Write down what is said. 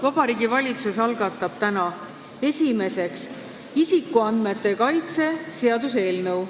Vabariigi Valitsus algatab täna esiteks isikuandmete kaitse seaduse eelnõu.